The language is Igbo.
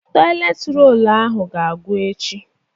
Tọịlet rolu ahụ ga-agwụ echi.